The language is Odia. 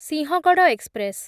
ସିଂହଗଡ଼ ଏକ୍ସପ୍ରେସ୍